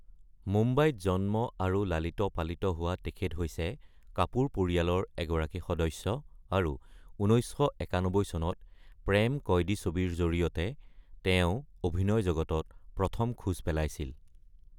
মুম্বাইত জন্ম আৰু লালিত-পালিত হোৱা তেখেত হৈছে, কাপুৰ পৰিয়ালৰ এগৰাকী সদস্য, আৰু ১৯৯১ চনত প্ৰেম কায়দী ছবিৰ জৰিয়তে তেওঁ অভিনয় জগতত প্ৰথম খোজ পেলাইছিল।